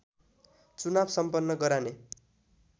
चुनाव सम्पन्न गराने